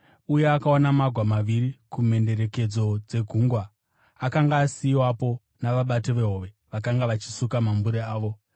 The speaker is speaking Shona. uye akaona magwa maviri kumhenderekedzo dzegungwa, akanga asiyiwapo navabati vehove, vakanga vachisuka mambure avo.